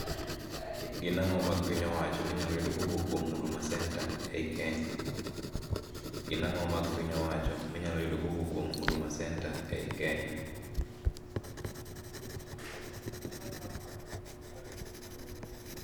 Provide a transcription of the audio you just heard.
Gin ang'o mag piny owacho minyalo yudo kowuok kuom huduma center ei Kenya? Gin ang'o mag piny owacho minyalo yudo kowuok kuom huduma center ei Kenya?